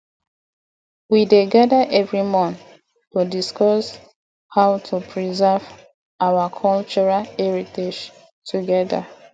we dey gather every month to discuss how to preserve our cultural heritage together